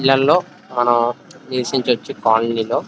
ఇళ్లలో మనం నివసించవచ్చు కాలనీ లో.